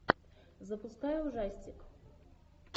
запускай ужастик